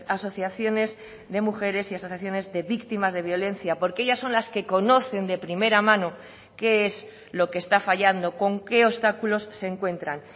asociaciones de mujeres y asociaciones de víctimas de violencia porque ellas son las que conocen de primera mano qué es lo que está fallando con qué obstáculos se encuentran